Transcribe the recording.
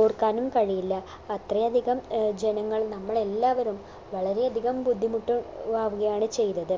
ഓർക്കാനും കഴിയില്ല അത്രയധികം ഏർ ജനങ്ങൾ നമ്മളെല്ലാവരും വളരെ അധികം ബുദ്ധിമുട്ട് ഏർ അറിയാണ് ചെയ്തത്